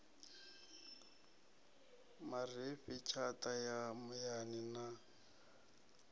marifhi tshata ya muyani na